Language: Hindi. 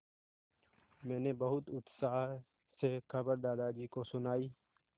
मैंने बहुत उत्साह से खबर दादाजी को सुनाई